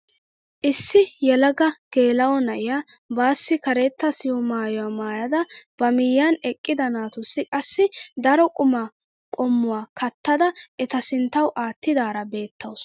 Issi yelaga geela'o na'iyaa baassi karetta siho maayuwaa maayada ba miyiyaan eqqida naatussi qassi daro qumaa qommuwaa kattada eta sinttawu aattidaara beettawus.